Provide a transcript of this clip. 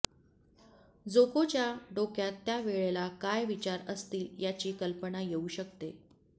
जोकोच्या डोक्यात त्या वेळेला काय विचार असतील याची कल्पना येउ शकते